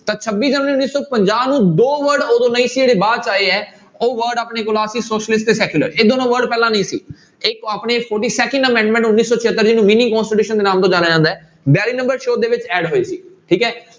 ਤਾਂ ਛੱਬੀ ਜਨਵਰੀ ਉੱਨੀ ਸੌ ਪੰਜਾਹ ਨੂੂੰ ਦੋ word ਉਦੋਂ ਨਹੀਂ ਸੀ ਜਿਹੜੇ ਬਾਅਦ 'ਚ ਆਏ ਹੈ, ਉਹ word ਆਪਣੇ ਕੋਲ ਆ ਕੇ socialist ਤੇ secular ਇਹ ਦੋਨੋਂ word ਪਹਿਲਾਂ ਨਹੀਂ ਸੀ ਇੱਕ second amendment ਉੱਨੀ ਸੌ ਛਿਅੱਤਰ ਜਿਹਨੂੰ mini constitution ਦੇ ਨਾਮ ਤੋਂ ਜਾਣਿਆ ਜਾਂਦਾ ਹੈ ਬਿਆਲੀ number ਸੋਧ ਦੇ ਵਿੱਚ add ਹੋਈ ਸੀ ਠੀਕ ਹੈ।